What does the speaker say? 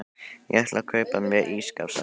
Ég ætla að kaupa mér ísskáp sagði